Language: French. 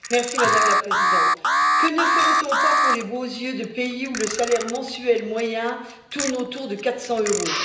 Madame la Présidente, que ne ferait on pas pour les beaux yeux de pays où le salaire mensuel moyen tourne autour de 400 euros!